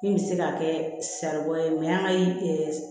Min bɛ se ka kɛ saribɔn ye an ka